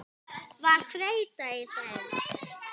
Var þreyta í þeim?